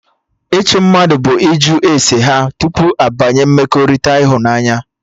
Ịchụ mmadụ bụ ịjụ ese ha tupu abanye mmekọrịta ịhụnanya